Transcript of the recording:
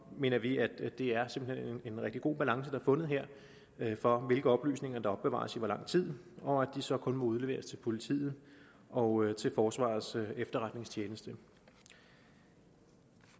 mener vi at det er en rigtig god balance der er fundet her for hvilke oplysninger der opbevares i hvor lang tid og at de så kun må udleveres til politiet og til forsvarets efterretningstjeneste